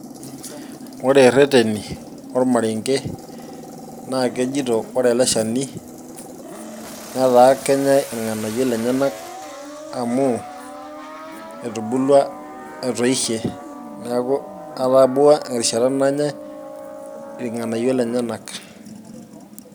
Ore irreteni ormarenge, naa kejito ore ele shani netaa kenyae irnganayio lenyenak amu etubulua, etoishe neeku etabawua erishata nanyae irganayio lenyenak.